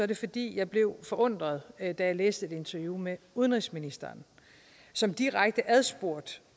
det fordi jeg blev forundret da jeg læste et interview med udenrigsministeren som direkte adspurgt